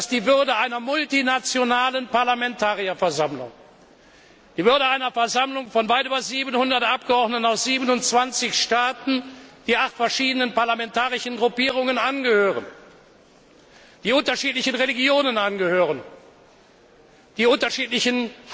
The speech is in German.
Die Würde einer multinationalen Parlamentarierversammlung, einer Versammlung von weit über 700 Abgeordneten aus 27 Staaten, die acht verschiedenen parlamentarischen Gruppierungen angehören, die unterschiedlichen Religionen angehören, die unterschiedliche